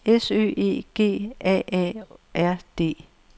S Ø E G A A R D